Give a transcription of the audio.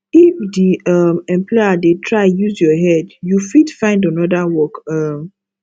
if di um employer dey try use your head you fit find anoda work um